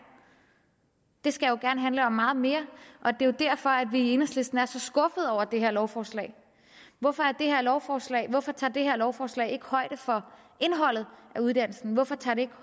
det skal jo gerne handle om meget mere og det er derfor at vi i enhedslisten er så skuffede over det her lovforslag hvorfor lovforslag hvorfor tager det her lovforslag ikke højde for indholdet af uddannelsen hvorfor tager det ikke